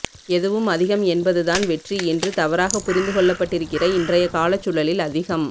எதுவும் அதிகம் என்பதுதான் வெற்றி என்று தவறாகப் புரிந்து கொள்ளப்பட்டிருக்கிற இன்றைய காலச்சூழலில் அதிகம்